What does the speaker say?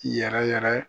Yɛrɛ yɛrɛ